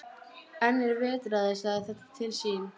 En er vetraði sagði þetta til sín.